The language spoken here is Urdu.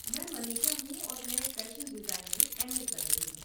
میں منیشا ہوں اور میں فیشن ڈیزائن میں ایم اے کر رہی ہوں۔